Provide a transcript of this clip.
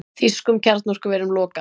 Þýskum kjarnorkuverum lokað